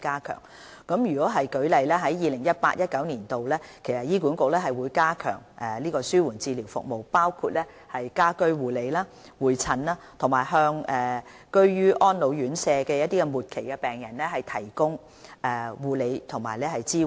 舉例而言，在 2018-2019 年度，醫管局會加強紓緩治療服務，包括家居護理、會診，以及向居於安老院舍的末期病人提供護理和支援。